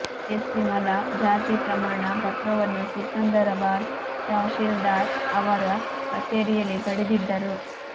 SC ಮಲಾ ಜಾತಿ ಪ್ರಮಾಣ ಪತ್ರವನ್ನುಸಿಕಂದರಾಬಾದ್ ತಹಶೀಲ್ದಾರ್ ಅವರ ಕಚೇರಿಯಲ್ಲಿ ಪಡೆದಿದ್ದರು